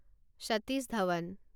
Satish Dhawan